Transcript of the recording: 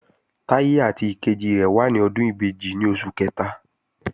Táyé àti ìkejì rẹ̀ wà ní ọdún ìbejì ní oṣù kẹta